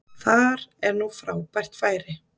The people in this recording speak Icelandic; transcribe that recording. Þar er nú frábært færi